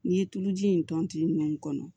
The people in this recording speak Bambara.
N'i ye tuluji in tɔnti ninnu kɔnɔ